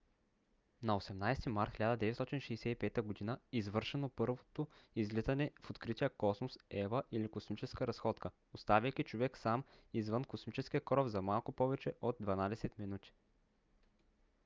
на 18 март 1965 г. извършено първото излизане в открития космос eva или космическа разходка оставайки човек сам извън космическия кораб за малко повече от дванадесет минути